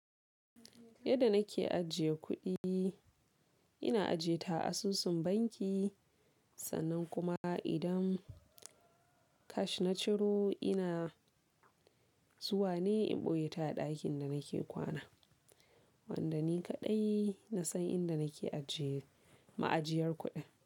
Yadda nake ajiye kuɗi, ina aje ta asusun banki. Sannan kuma idan cash na ciro ina zuwa ne in ɓoye ta a ɗakin da nake kwana, wanda ni kaɗai na san inda nake ajiye ma'ajiyar kuɗin.